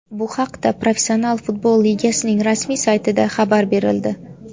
Bu haqda Professional futbol ligasining rasmiy saytida xabar berildi .